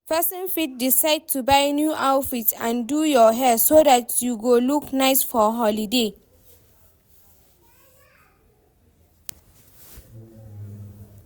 Persin fit decide to buy new outfits and do your hair so that you go look nice for holiday